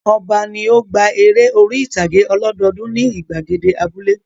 Ọba ni ó gba eré orí-ìtàgé ọlọ́dọọdún ní ìgbàgede abúlé.